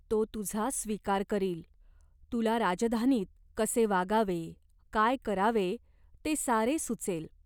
तो तुझा स्वीकार करील. तुला राजधानीत कसे वागावे, काय करावे, ते सारे सुचेल.